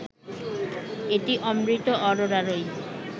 এটি অমৃতা আরোরারই